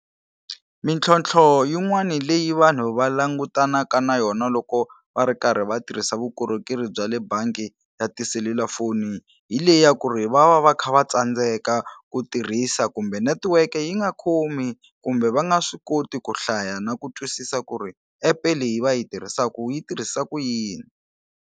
Mintlhontlho yin'wani leyi vanhu va langutanaka na yona loko va ri karhi va tirhisa vukorhokeri bya le bangi ya tiselulafoni hi leyi ya ku ri va va va kha va tsandzeka ku tirhisa kumbe network yi nga khomi kumbe va nga swi koti ku hlaya na ku twisisa ku ri epe leyi va yi tirhisakaku yi tirhisa ku yini.